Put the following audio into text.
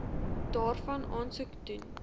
daarvan aansoek doen